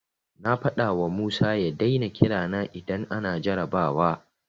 Na faɗawa Musa ya daina kira na idan ana jarrabawa.